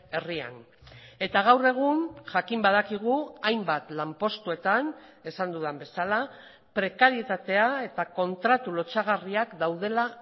herrian eta gaur egun jakin badakigu hainbat lanpostuetan esan dudan bezala prekarietatea eta kontratu lotsagarriak daudela